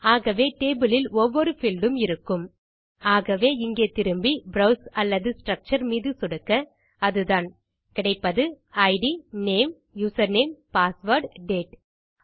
ஆகவே டேபிள் இல் ஒவ்வொரு பீல்ட் உம் இருக்கும் ஆகவே இங்கே திரும்பி ப்ரோவ்ஸ் அல்லது ஸ்ட்ரக்சர் மீது சொடுக்க அதுதான் கிடைப்பது ID name username password date